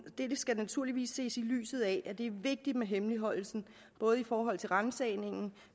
skal naturligvis ses i lyset af at det er vigtigt med hemmeligholdelsen i forhold til ransagningen